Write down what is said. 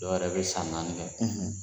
Dɔw yɛrɛ be san naani kɛ